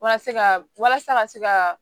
Walasa ka walasa ka se ka